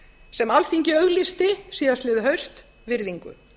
sem alþingi auglýsti síðastliðið haust virðingu